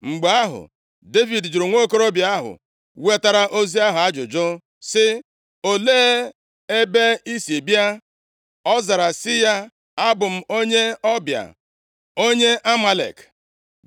Mgbe ahụ, Devid jụrụ nwokorobịa ahụ wetara ozi ahụ ajụjụ sị, “Olee ebe i si bịa?” Ọ zara sị ya, “Abụ m onye ọbịa, onye Amalek.”